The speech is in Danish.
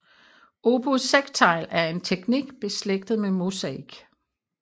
Opus sectile er en teknik beslægtet med mosaik